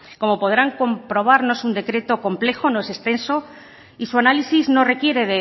como podrán comprobar no es un decreto complejo no es extenso y su análisis no requiere